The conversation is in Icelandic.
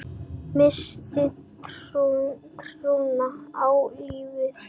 Missti trúna á lífið.